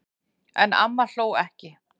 En amma hló ekki.